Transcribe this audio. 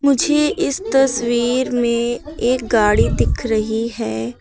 मुझे इस तस्वीर में एक गाड़ी दिख रही है।